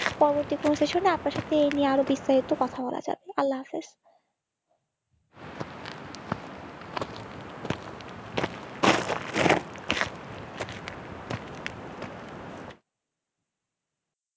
পরবর্তী কোন season আপনার সাথে এই নিয়ে আরও বিস্তারিত কথা বলা যাবে আল্লাহ হাফেজ।